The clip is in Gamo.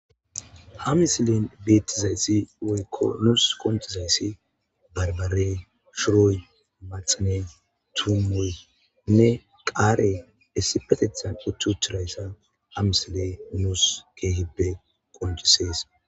Hamisilen beetizayssi oykko nuus qontizayssi barbare shuroy maxane tumuy ne qaare essipatethan uttu tirayssa hamisle nuus ke hibbe qoncisees.